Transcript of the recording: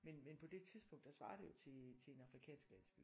Men men på det tidspunkt der svarer det jo til til en afrikansk landsby